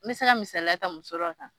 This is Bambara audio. Me se ka misaliya ta muso dɔ kan.